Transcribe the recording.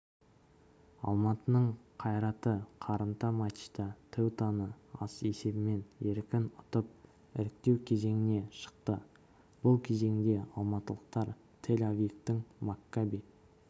алматының қайраты қарымта матчта теутаны есебімен еркін ұтып іріктеу кезеңіне шықты бұл кезеңде алматылықтар тель-авивтің маккаби